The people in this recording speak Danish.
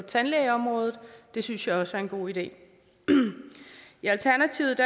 tandlægeområdet det synes jeg også er en god idé i alternativet